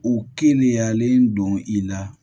U keniyalen don i la